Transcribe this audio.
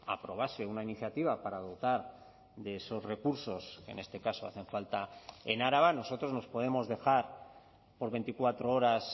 aprobase una iniciativa para dotar de esos recursos en este caso hacen falta en araba nosotros nos podemos dejar por veinticuatro horas